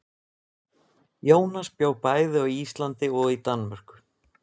Jónas bjó bæði á Íslandi og í Danmörku.